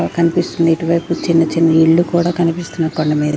కనిపిస్తుంది ఇటువైపు చిన్న చిన్న ఇల్లు కూడా కనిపిస్తున్నాయి కొండ మీ--